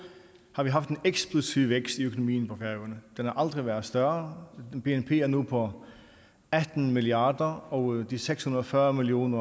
har vi haft en eksplosiv vækst i økonomien på færøerne den har aldrig været større bnp er nu på atten milliard kr og de seks hundrede og fyrre million